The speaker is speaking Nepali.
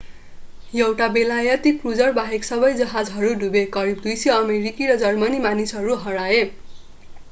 एउटा बेलायती क्रूजर बाहेक सबै जहाजहरू डुबे करिब 200 अमेरिकी र जर्मनी मानिसहरू हराए